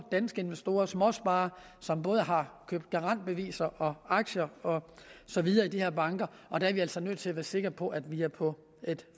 danske investorer og småsparere som både har købt garantbeviser aktier og så videre i de her banker og der er vi altså nødt til at være sikre på at vi er på et